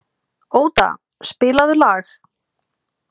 Óda, spilaðu lag.